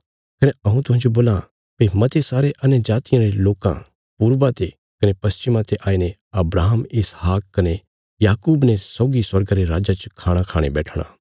कने हऊँ तुहांजो बोलां भई मते सारे अन्यजातियां रे लोकां पूर्वा ते कने पश्चिमा ते आईने अब्राहम इसहाक कने याकूब ने सौगी स्वर्गा रे राज्जा च खाणा खाणे बैठणा